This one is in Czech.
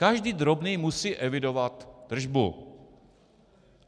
Každý drobný musí evidovat tržbu.